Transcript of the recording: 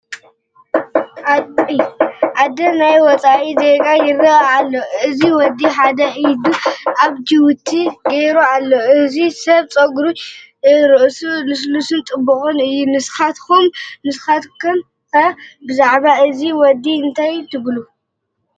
ኣደ ናይ ወፃኢ ዜጋ ይረአ ኣሎ፡፡ እዚ ወዲ ሓደ ኢዱ ኣብ ጅቡኡ ጌሩ ኣሎ፡፡ እዚ ሰብ ፀጉሪ ርእሱ ልስሉስን ፅቡቕን እዩ፡፡ ንስኻትኩም? ንስኻትኩም ከ ብዛዕባእዚ ወዲ እንታይ ትብሉ?